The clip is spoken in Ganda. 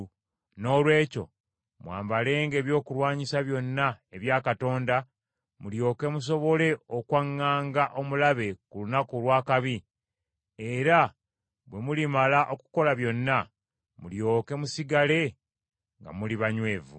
Noolwekyo mwambalenga ebyokulwanyisa byonna ebya Katonda, mulyoke musobole okwaŋŋanga omulabe ku lunaku olw’akabi, era bwe mulimala okukola byonna, mulyoke musigale nga muli banywevu.